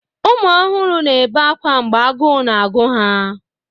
Ụmụ ọhụrụ na-ebe akwa mgbe agụụ na-agụ ha.